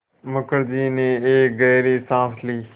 मुखर्जी ने एक गहरी साँस ली